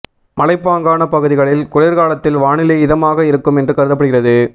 மலைப்பாங்கான பகுதிகளில் குளிர்காலத்தில் வானிலை இதமாக இருக்கும் என்று கருதப்படுகிறது